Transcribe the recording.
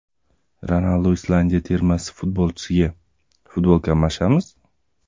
Ronaldu Islandiya termasi futbolchisiga: Futbolka almashamiz?